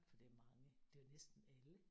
For det er mange det er jo næsten alle